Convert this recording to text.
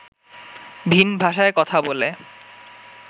ভিন ভাষায় কথা বলে